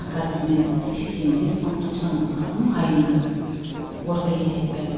қазір мен сексен бес мың тоқсан мың алам айына орта есеппен